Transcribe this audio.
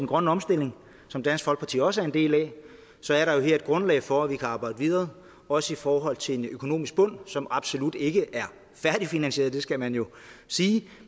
grønne omstilling som dansk folkeparti også er en del af så er der jo her et grundlag for at vi kan arbejde videre også i forhold til en økonomisk bund som absolut ikke er færdigfinansieret det skal man sige